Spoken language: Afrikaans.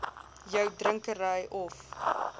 jou drinkery of